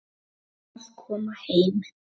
Feginn að koma heim.